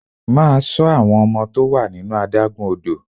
Máa ṣọ àwọn ọmọ tó wà nínú adágún odò!